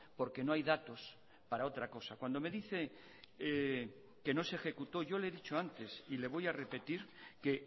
porque no hay datos para otra cosa cuando me dice que no se ejecutó yo le he dicho antes y le voy a repetir que